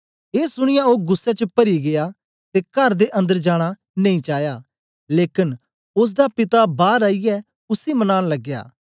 ए सुनीयै ओ गुस्सै च परी गीया ते कर दे अन्दर जाना नेई चाया लेकन ओसदा पिता बार आईयै उसी मनान लगया